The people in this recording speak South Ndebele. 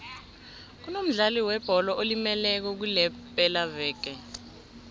kunomdlali webholo olimeleko kulepelaveke